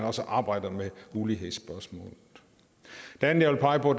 også arbejder med ulighedsspørgsmålet det andet jeg vil pege på